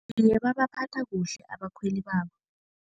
Iye, babaphatha kuhle abakhweli babo.